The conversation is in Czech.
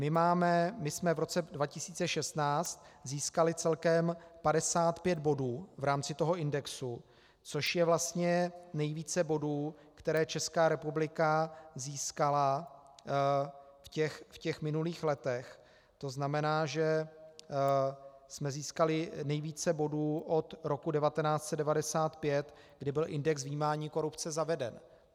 My jsme v roce 2016 získali celkem 55 bodů v rámci toho indexu, což je vlastně nejvíce bodů, které Česká republika získala v těch minulých letech, to znamená, že jsme získali nejvíce bodů od roku 1995, kdy byl index vnímání korupce zaveden.